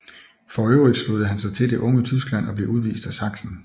For øvrigt sluttede han sig til Det unge Tyskland og blev udvist af Sachsen